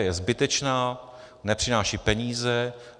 Je zbytečná, nepřináší peníze.